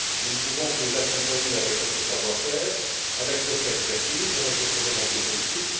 Nous ne pouvons que les accompagner avec notre savoir faire, avec notre expertise, avec notre volonté politique.